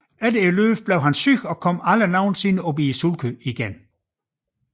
Efter løbet blev han syg og kom aldrig i sulkyen igen